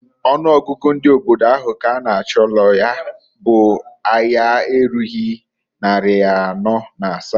Ọnụ ọgụgụ ndị obodo ahụ k'anụchalụ ya bụ aya erughi nnarị anọọ na asa.